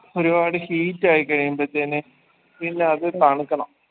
ഒരുപാട് heat ആയി കഴിയുമ്പക്കെന്നെ പിന്നത് തണുക്കണം